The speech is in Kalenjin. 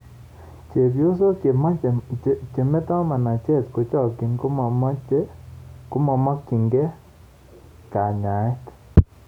Chepyosok chemetoo manacheet kochokyii komomokyinkee kanyaeet